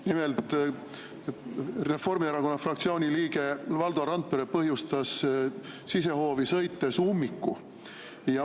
Nimelt, Reformierakonna fraktsiooni liige Valdo Randpere põhjustas sisehoovi sõites ummiku.